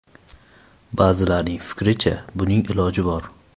Ba’zilarning fikricha, buning iloji bor.